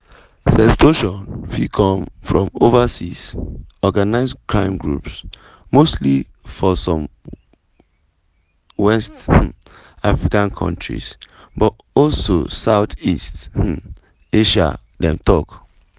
sextortion fit come from overseas organised crime groups mostly for some west um african countries but also south east um asia dem talk.